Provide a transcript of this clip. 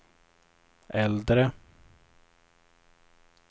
äldre